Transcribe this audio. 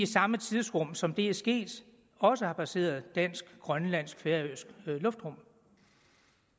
samme tidsrum som det er sket også har passeret dansk grønlandsk og færøsk luftrum